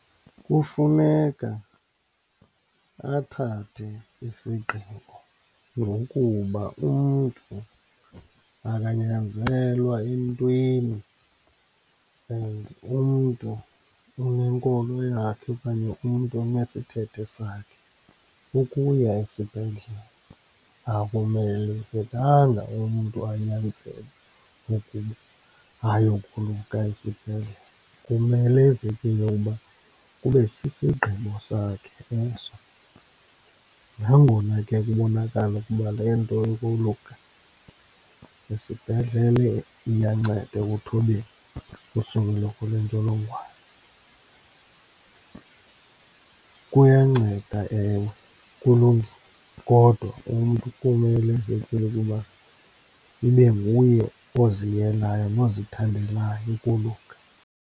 Kufuneka athathe isigqibo, ngokuba umntu akanyanzelwa entweni and umntu unenkolo yakhe okanye umntu unesithethe sakhe. Ukuya esibhedlele, akumelezekanga umntu anyanzelwe ukuba ayokoluka esibhedlele, kumelezekile uba kube sisigqibo sakhe eso, nangona ke kubonakala ukuba le nto yokoluka esibhedlele iyanceda ekuthobeni usuleleko lwentsholongwane. Kuyanceda, ewe kulungile kodwa umntu kumelezekile ukuba ibe nguye oziyelayo nozithandelayo ukoluka.